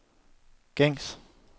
gængs